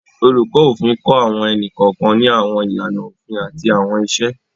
Oluko Ofin kọ awọn ẹni-kọọkan ni awọn ilana ofin ati awọn iṣe.